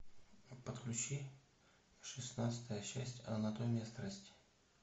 подключи шестнадцатая часть анатомия страсти